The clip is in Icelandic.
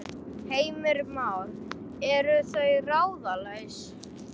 Heimir Már: Eru þau ráðalaus?